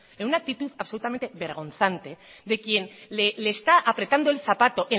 en una actitud absolutamente vergonzante de quien le está apretando el zapato